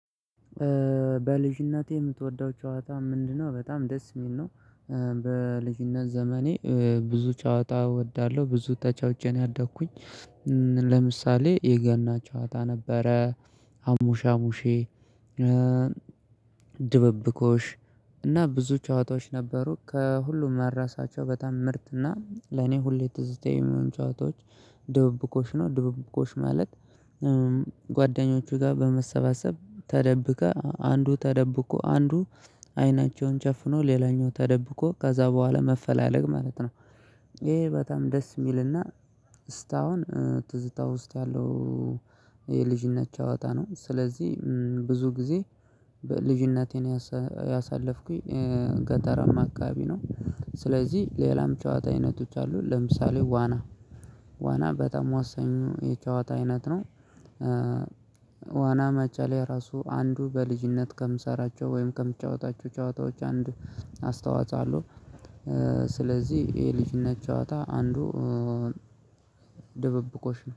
በልጅነትህ የምትወደው ጨዋታ ምንድን ነው? በጣም ደስ የሚል ነው በልጅነት ዘመኔ ብዙ ጨዋታ እወዳለሁ፤ ብዙ ተጫውቼ ነው ያደግሁት ለምሳሌ የገና ጨዋታ ነበረ፤ አሙሽ አሙሼ፣ ድብብቆሽ እና ብዙ ጨዋታዎች ነበሩ፤ ከሁሉም ማረሳቸው በጣም ምርጥና ለእኔ ሁሌ ትዝተኛ የሚሆን ጨዋታዎች ድብብቆሽ ነው። ድብብቆሽ ማለት ከጓደኞቼ ጋር በመሰባሰብ ተደብቆ አንዱ ተደብቆ፤ አንዱ አይኑን ጨፍኖ ሌላኛው ተደብቆ ከዛ በኋላ መፈለግ ማለት ነው። ይህ በጣም ደስ የሚልና ስታሁን ትዝታ ውስጥ ያለው የልጅነት ጨዋታ ነው፤ ስለዚህ ብዙ ጊዜ ልጅነቴን ያሳለፍኩት ገጠራማ አካባቢ ነው ስለዚህ ሌላም የጨዋታ አይነቶች አሉ፤ ለምሳሌ ዋና ዋና በጣም ወሰኙ የጨዋታ አይነት ነው ዋና መዋኘት በራሱ አንድ በልጅነቴ ከምሰራቸው ወይም ከምጫወታቸው ጨዋታዎች አንዱ አስተዋጾ አለው። ስለዚህ ይህ የልጅነት ጨዋታ አንዱ ድብብቆሽ ነው።